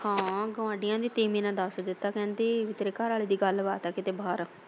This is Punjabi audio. ਹਾਂ ਗੁਆਢੀਆਂ ਦੀ ਤੀਵੀਂ ਨੇ ਦੱਸ ਦਿੱਤਾ ਕਹਿੰਦੀ ਵੀ ਤੇਰੇ ਘਰਵਾਲੇ ਦੀ ਗੱਲਬਾਤ ਹੈ ਕਿਤੇ ਬਾਹਰ।